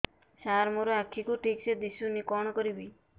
ସାର ମୋର ଆଖି କୁ ଠିକସେ ଦିଶୁନି କଣ କରିବି